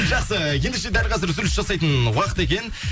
жақсы ендеше дәл қазір үзіліс жасайтын уақыт екен